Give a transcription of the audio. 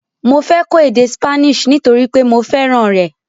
Mọ fẹ́ kọ èdè Spanish nítorípé mọ fẹ́ràn rẹ̀.